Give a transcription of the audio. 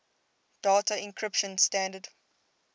data encryption standard